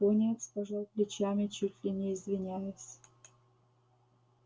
пониетс пожал плечами чуть ли не извиняясь